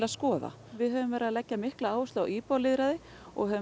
skoða við höfum verið að leggja mikla áherslu á íbúalýðræði og höfum